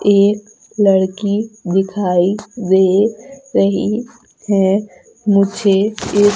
एक लड़की दिखाई दे रही है मुझे इस--